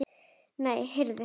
Nei, heyrðu.